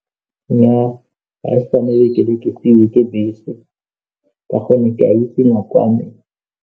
Nnyaa ga ise ke tsamaye ke be ke seiwe ke bese ka gonne ke a itsi nako ya me.